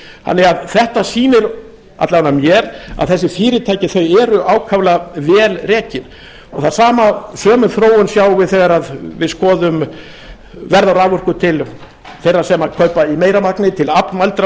þannig að þetta sýnir alla vega mér að þessi fyrirtæki eru ákaflega vel rekin og þá sömu þróun sjáum við þegar við skoðum verð á raforku til þeirra sem kaupa í meira magni til aflmældra notenda